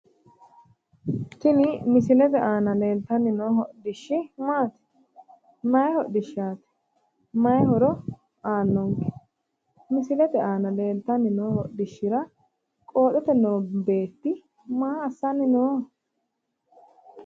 Tini misilete aana leeltanni noo hodhishshi maati mayi hodhishshaati mayi ho'ro aannonke misilete aana leeltanni noo hodhishshira qooxote noo beetti maa assanni nooho